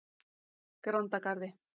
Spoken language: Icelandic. Grandagarði